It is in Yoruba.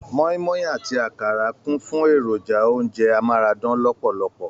Mọ́í-mọ́í àti àkàrà kún fún èròjà oúnjẹ amárádán lọ̀pọ̀lọpọ̀